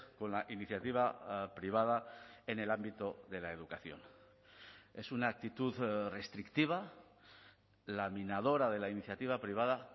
con la iniciativa privada en el ámbito de la educación es una actitud restrictiva laminadora de la iniciativa privada